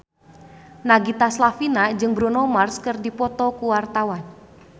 Nagita Slavina jeung Bruno Mars keur dipoto ku wartawan